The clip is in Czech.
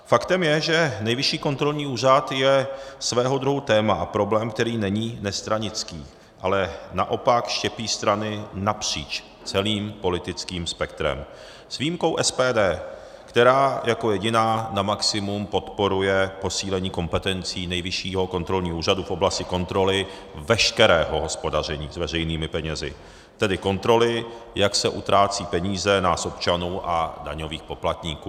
Faktem je, že Nejvyšší kontrolní úřad je svého druhu téma a problém, který není nestranický, ale naopak štěpí strany napříč celým politickým spektrem, s výjimkou SPD, která jako jediná na maximum podporuje posílení kompetencí Nejvyššího kontrolního úřadu v oblasti kontroly veškerého hospodaření s veřejnými penězi, tedy kontroly, jak se utrácí peníze nás občanů a daňových poplatníků.